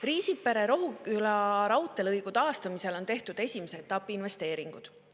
Riisipere–Rohuküla raudteelõigu taastamisel on tehtud esimese etapi investeeringud.